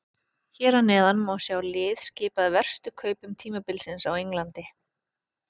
Hér að neðan má sjá lið skipað verstu kaupum tímabilsins á Englandi.